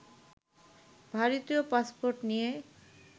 ভারতীয় পাসপোর্ট নিয়ে